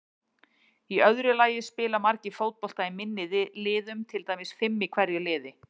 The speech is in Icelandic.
Í öðru lagi spila margir fótbolta í minni liðum, til dæmis fimm í hverju liði.